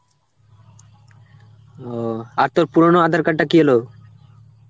ওহ আর তোর পুরনো aadhar card টা কি হলো?